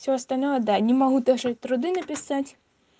все остальное да не могу даже труды написать